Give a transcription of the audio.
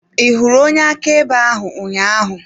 Ị hụrụ onye akaebe ahụ ụnyaahụ?